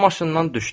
O maşından düşdü.